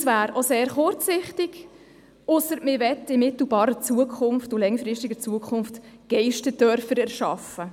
Das wäre auch sehr kurzsichtig – ausser, man wolle in mittel- und langfristiger Zukunft Geisterdörfer erschaffen.